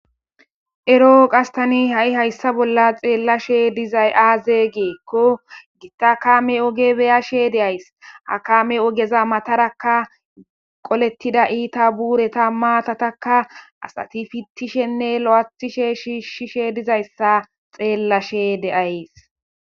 ero qastani ha7i hayssa bolla xeellashe dizay aaze geekko gitta kame oge beyashe deays hakame ogeza matarakka qolettida iita buureta maatataka asati fittishenne lo7athishe shiishshishe dizayssa xeellashe deayes